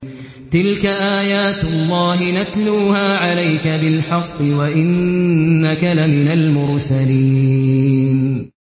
تِلْكَ آيَاتُ اللَّهِ نَتْلُوهَا عَلَيْكَ بِالْحَقِّ ۚ وَإِنَّكَ لَمِنَ الْمُرْسَلِينَ